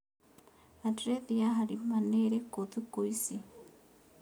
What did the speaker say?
andirethi ya Halima nĩ ĩrĩkũ thũkũ ĩci